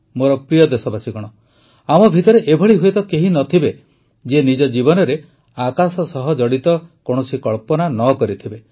ମୋର ପ୍ରିୟ ଦେଶବାସୀଗଣ ଆମ ଭିତରେ ଏଭଳି ହୁଏତ କେହି ନ ଥିବେ ଯିଏ ନିଜ ଜୀବନରେ ଆକାଶ ସହ ଜଡ଼ିତ କୌଣସି କଳ୍ପନା ନ କରିଥିବେ